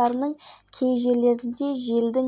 төлқұжат тексеру бөлімінде